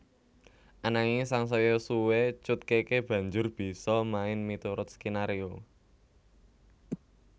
Ananging sangsaya suwé Cut Keke banjur bisa main miturut skenario